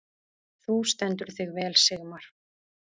Þú stendur þig vel, Sigmar!